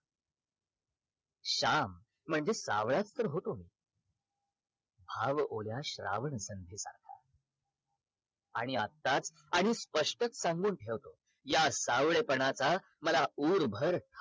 श्याम म्हणजे सावळाच तर होतो भाव ओल्या श्रावण संध्येसारखा आणि आत्ताच आणि स्पष्टच सांगून ठेवतो या सावळेपनाचा मला उर भर